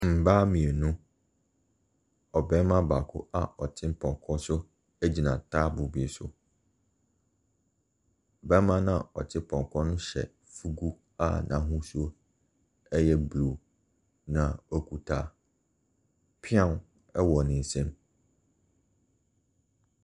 Mmaa mmienu, ɔbarima baako a ɔte pɔnko so egyina taboo bi so. Barima na ɔte pɔnkɔ so no hyɛ fugu a n'ahosuo ɛyɛ blue na ɔkuta piaw ɛwɔ ne nsam.